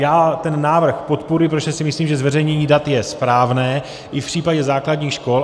Já ten návrh podporuji, protože si myslím, že zveřejnění dat je správné i v případě základních škol.